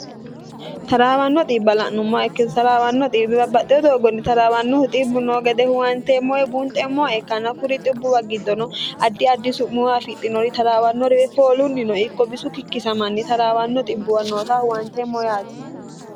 taraawanno xiibbala'numma ikkitaraawanno xbbibabbaxxeo doogonni taraawannohu xibbu noo gede huwanteemmoe buunxemmoe kana kuri xibbuwa giddono addi addi su'muuwa fixinori taraawannoriwe foolunni no ikko bisu kikkisamanni taraawanno xibbuw noota huwanteemmo yaati